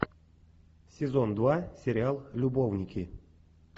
сезон два сериал любовники